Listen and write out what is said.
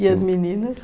E as meninas?